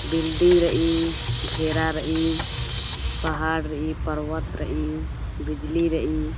बिल्डिंग रई घेरा रई पहाड़ रई पर्वत रई बिजली रई--